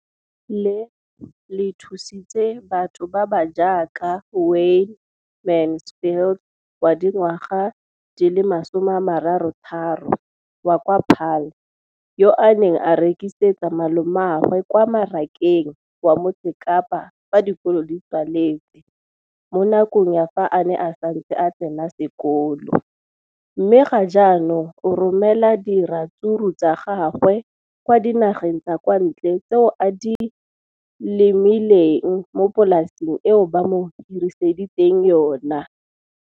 leno le thusitse batho ba ba jaaka Wayne Mansfield, 33, wa kwa Paarl, yo a neng a rekisetsa malomagwe kwa Marakeng wa Motsekapa fa dikolo di tswaletse, mo nakong ya fa a ne a santse a tsena sekolo, mme ga jaanong o romela diratsuru tsa gagwe kwa dinageng tsa kwa ntle tseo a di lemileng mo polaseng eo ba mo hiriseditseng yona.